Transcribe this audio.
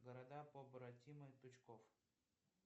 города побратимы тучков